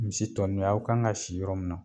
Misi tɔni y'aw kan ka si yɔrɔ min.